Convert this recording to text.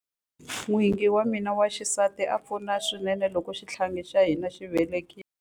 N'wingi wa mina wa xisati a pfuna swinene loko xihlangi xa hina xi velekiwa.